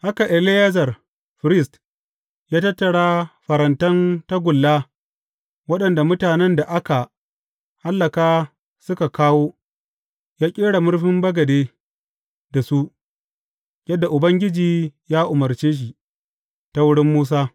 Haka Eleyazar, firist, ya tattara farantan tagulla waɗanda mutanen da aka hallaka suka kawo, ya ƙera murfin bagade da su, yadda Ubangiji ya umarce shi, ta wurin Musa.